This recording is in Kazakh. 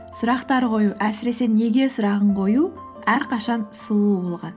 сұрақтар қою әсіресе неге сұрағын қою әрқашан сұлу болған